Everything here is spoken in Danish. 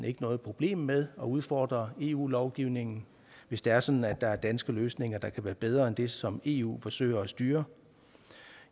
ikke noget problem med at udfordre eu lovgivningen hvis det er sådan at der er danske løsninger der er bedre end det som eu forsøger at styre